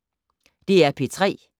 DR P3